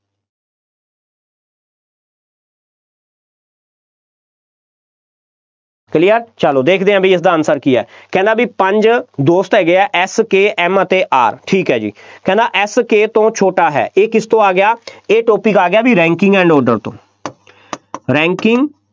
clear ਚੱਲੋ, ਦੇਖਦੇ ਹਾਂ ਬਈ ਇਹਦਾ answer ਕੀ ਹੈ, ਕਹਿੰਦਾ ਬਈ ਪੰਜ ਦੋਸਤ ਹੈਗੇ ਆ, F K M ਅਤੇ R ਠੀਕ ਹੈ ਜੀ, ਕਹਿੰਦਾ F K ਤੋਂ ਛੋਟਾ ਹੈ, ਇਹ ਕਿਸ ਤੋਂ ਆ ਗਿਆ, ਇਹ topic ਆ ਗਿਆ ਬਈ ranking and order ਤੋਂ ranking